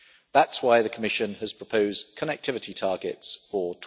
That is why the Commission has proposed connectivity targets for